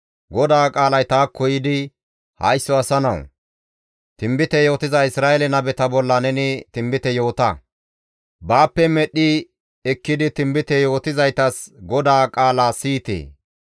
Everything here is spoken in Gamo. «Haysso asa nawu! Tinbite yootiza Isra7eele nabeta bolla neni tinbite yoota; baappe medhdhi ekkidi tinbite yootizayta, GODAA qaala siyite!